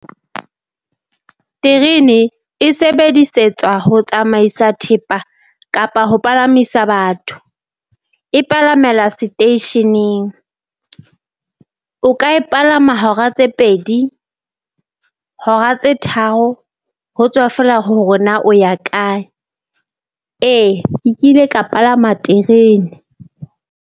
Terene e sebedisetswa ho tsamaisa thepa kapa ho palamisa batho. E palamela seteisheneng, o ka e palama hora tse pedi hora tse tharo, ho tswa feela hore na o ya kae, ee ke kile ka palama terene.